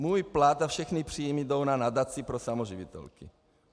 Můj plat a všechny příjmy jdou na nadaci pro samoživitelky.